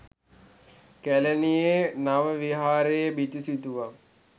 කැලණියේ නව විහාරයේ බිතු සිතුවම්